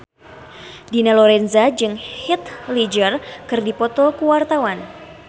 Dina Lorenza jeung Heath Ledger keur dipoto ku wartawan